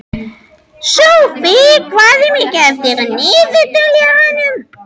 Sophie, hvað er mikið eftir af niðurteljaranum?